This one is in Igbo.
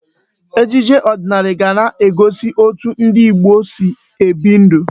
Ejije ọdịnala ga na-egosi etu ndị Igbo si ebi ndụ.